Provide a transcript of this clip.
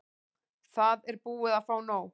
Það er búið að fá nóg.